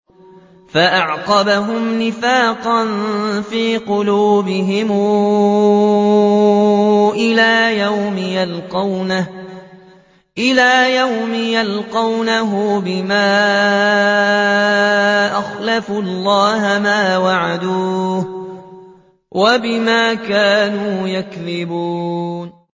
فَأَعْقَبَهُمْ نِفَاقًا فِي قُلُوبِهِمْ إِلَىٰ يَوْمِ يَلْقَوْنَهُ بِمَا أَخْلَفُوا اللَّهَ مَا وَعَدُوهُ وَبِمَا كَانُوا يَكْذِبُونَ